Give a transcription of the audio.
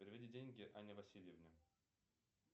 переведи деньги анне васильевне